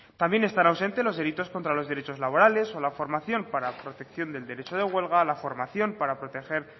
también están ausentes los delitos contra los derechos laborales o la formación para protección del derecho de huelga la formación para proteger